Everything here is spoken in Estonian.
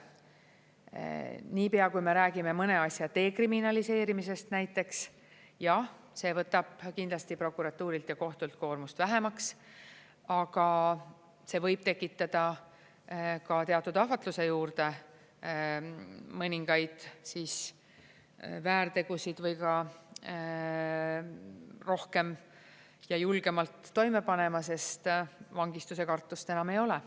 Nii pea, kui me räägime mõne asja dekriminaliseerimisest näiteks, jah, see võtab kindlasti prokuratuurilt ja kohtult koormust vähemaks, aga see võib tekitada ka teatud ahvatluse juurde mõningaid väärtegusid või ka rohkem ja julgemalt toime panema, sest vangistuse kartust enam ei ole.